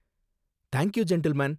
Thank you gentleman!